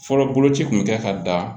Fɔlɔ boloci kun bɛ kɛ ka da